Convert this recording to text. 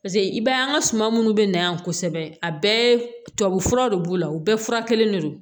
Paseke i b'a ye an ka suman munnu bɛ na yan kosɛbɛ a bɛɛ tubabu furaw de b'u la u bɛɛ fura kelen de don